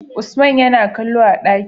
Usaman Yana kallo a daki